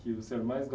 O que o senhor mais